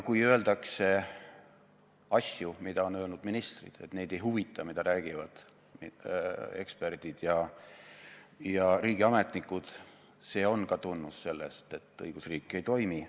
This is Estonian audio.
Kui öeldakse asju, mida on öelnud ministrid – et neid ei huvita, mida räägivad eksperdid ja riigiametnikud –, siis ka see on tunnus sellest, et õigusriik ei toimi.